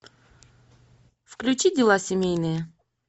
включи дела семейные